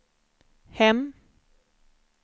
hem